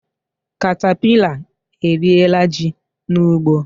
Katapila eriela ji n'ugbo